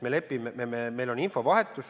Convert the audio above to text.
Meil on infovahetus.